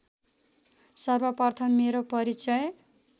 सर्वप्रथम मेरो परिचय